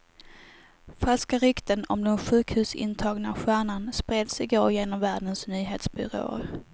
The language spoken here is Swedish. Falska rykten om den sjukhusintagna stjärnan spreds i går genom världens nyhetsbyråer.